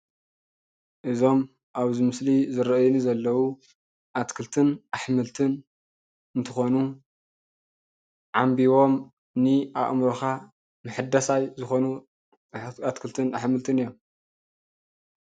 እዞም አብዚ ምስሊ ዝርእዩ ዘለው አትክልትን አሕምልትን እንትኮኑ ዓንቢቦም ንአእምሮካ ምሕዳስ ዝኮኑ አሕምልትን አትክልትን እዮም።